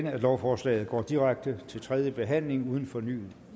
at lovforslaget går direkte til tredje behandling uden fornyet